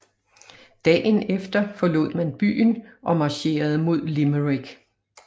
Dagen efter forlod man byen og marcherede mod Limerick